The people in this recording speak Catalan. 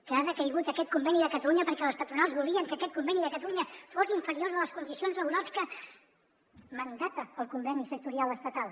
que ha decaigut aquest conveni de catalunya perquè les patronals volien que aquest conveni de catalunya fos inferior a les condicions laborals que mandata el conveni sectorial estatal